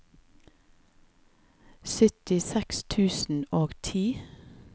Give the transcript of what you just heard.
syttiseks tusen og ti